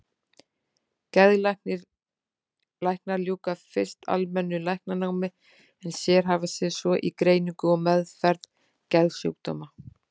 Geðlæknar ljúka fyrst almennu læknanámi en sérhæfa sig svo í greiningu og meðferð geðsjúkdóma.